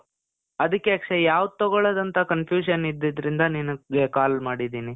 ಅದಕ್ಕೆ ಅಕ್ಷಯ್, ಯಾವ್ದು ತಗೋಳೋದು ಅಂತ confusion ಇದ್ದಿದ್ರಿಂದ ನಿನಿಗೆ call ಮಾಡಿದೀನಿ.